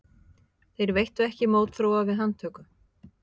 Þeir veittu ekki mótþróa við handtöku